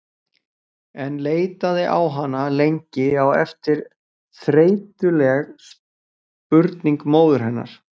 En leitaði á hana lengi á eftir þreytuleg spurning móður hennar